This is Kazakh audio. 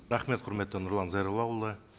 рахмет құрметті нұрлан зайроллаұлы